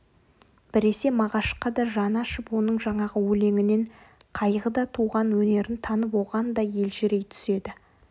біресе мағашқа да жаны ашып оның жаңағы өлеңінен қайғыда туған өнерін танып оған да елжірей түседі